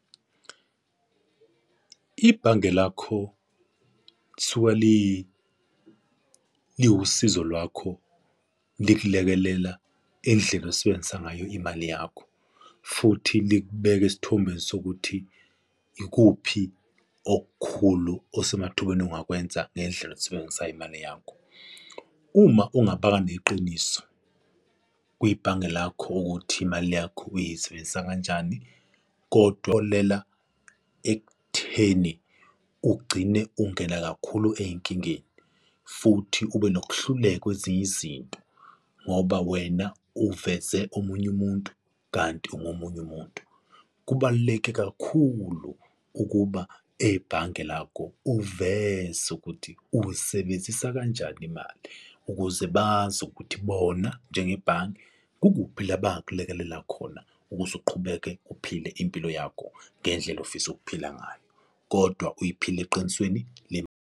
Ibhange lakho kthiwa liwusizo lwakho likulekelela indlela osebenzisa ngayo imali yakho futhi likubeka esithombeni sokuthi ikuphi okukhulu osemathubeni ongakwenza ngendlela oyisebenzisa ngayo imali yakho. Uma ungaba neqiniso kwibhange lakho ukuthi imali yakho uyisebenzisa kanjani, kotholela ekutheni ugcine ungena kakhulu ey'nkingeni futhi ube nokhluleka kwezinye izinto ngoba wena uveze omunye umuntu kanti ungomunye umuntu. Kubaluleke kakhulu ukuba ebhange lakho uveze ukuthi uyisebenzisa kanjani imali ukuze yini bazi ukuthi bona njengebhange kukuphi la bakulekelela khona ukuze uqhubeke uphile impilo yakho ngendlela ofisa ukuphila ngayo, kodwa uyiphile eqinisweni.